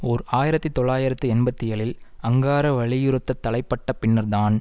ஓர் ஆயிரத்தி தொள்ளாயிரத்து எண்பத்தி ஏழில் அங்காரா வலியுறுத்தத் தலைப்பட்ட பின்னர் தான்